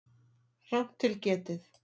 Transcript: Rangt til getið